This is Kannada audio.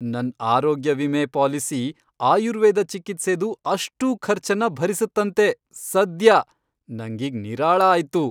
ನನ್ ಆರೋಗ್ಯ ವಿಮೆ ಪಾಲಿಸಿ ಆಯುರ್ವೇದ ಚಿಕಿತ್ಸೆದು ಅಷ್ಟೂ ಖರ್ಚನ್ನ ಭರಿಸತ್ತಂತೆ ಸದ್ಯ, ನಂಗೀಗ್ ನಿರಾಳ ಆಯ್ತು.